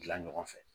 Dilan ɲɔgɔn fɛ